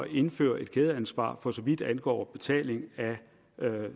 indføre et kædeansvar for så vidt angår betaling af